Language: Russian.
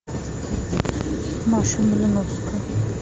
маша малиновская